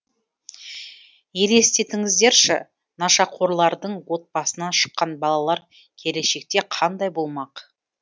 елестетіңіздерші нашақорлардың отбасынан шыққан балалар келешекте қандай болмақ